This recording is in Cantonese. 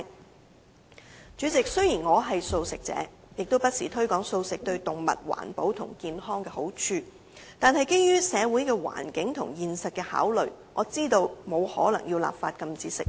代理主席，雖然我是素食者，亦不時推廣素食對動物、環保和健康的好處，但基於社會的環境和現實的考慮，我知道不可能立法禁止吃肉。